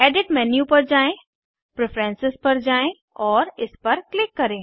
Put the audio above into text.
edit menu पर जाएँ preferences पर जाये और इस पर क्लिक करें